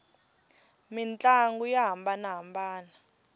mintlangu ya hambanana